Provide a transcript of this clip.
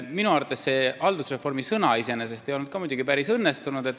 Minu arvates ei olnud see haldusreformi sõna iseenesest ka päris õnnestunud.